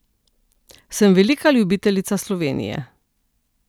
Sem velika ljubiteljica Slovenije.